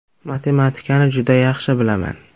Matematikani juda yaxshi bilaman .